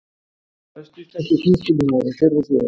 Besti íslenski knattspyrnumaðurinn fyrr og síðar?